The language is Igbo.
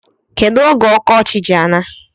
Kedu oge ọkọchị ji ana?